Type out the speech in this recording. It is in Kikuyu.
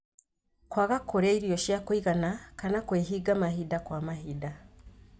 Kũaga kũrĩa irio cia kũigana kana kwĩhinga mahinda kwa mahinda